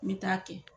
N bɛ taa kɛ